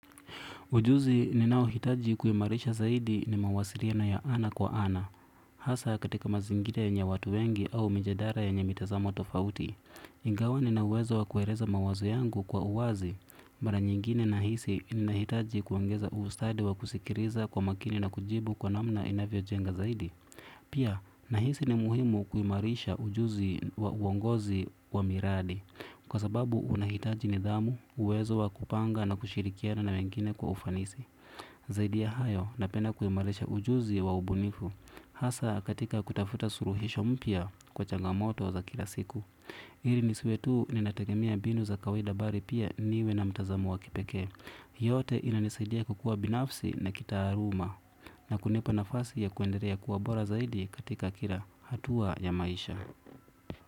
Ujuzi ninaohitaji kuimarisha zaidi ni mawasiriano ya ana kwa ana. Hasa katika mazingira yenye watu wengi au mijadara yenye mitazamo tofauti. Ingawa nina uwezo wa kuereza mawazo yangu kwa uwazi. Mara nyingine nahisi ninahitaji kuongeza ustadi wa kusikiriza kwa makini na kujibu kwa namna inavyojenga zaidi. Pia, nahisi ni muhimu kuimarisha ujuzi wa uongozi wa miradi. Kwa sababu unahitaji nidhamu, uwezo wa kupanga na kushirikiana na wengine kwa ufanisi. Zaidi ya hayo, napenda kuimarisha ujuzi wa ubunifu. Hasa katika kutafuta suruhisho mpya kwa changamoto za kila siku. Iri nisiwe tu ninategemea mbinu za kawaida bari pia niwe na mtazamo wa kipeke. Hii yote inanisaidia kukua binafsi na kitaaruma. Na kunipa nafasi ya kuenderea kuwa bora zaidi katika kila hatua ya maisha.